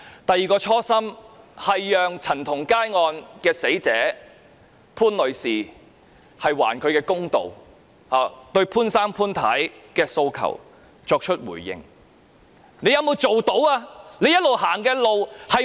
第二個初心，是還陳同佳案的死者潘女士一個公道，對她父母潘先生、潘太的訴求作出回應，你做到沒有？